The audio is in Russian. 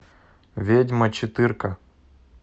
ведьма четыре ка